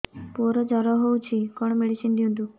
ପୁଅର ଜର ହଉଛି କଣ ମେଡିସିନ ଦିଅନ୍ତୁ